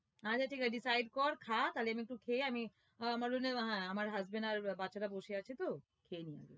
আচ্ছা ঠিক আছে decide কর খা তালে আমি একটু খেয়ে আমি আহ আমার জন্য আহ আমার husband আর বাচ্চারা বসে আছে তো খেয়ে নি